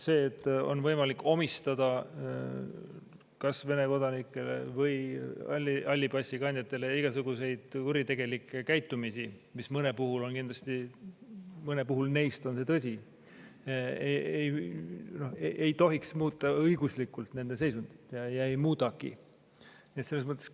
See, et on võimalik omistada kas Vene kodanikele või halli passi kandjatele igasugust kuritegelikku käitumist, mis neist mõnele kindlasti, ei tohiks õiguslikult nende seisundit muuta ja ei muudagi.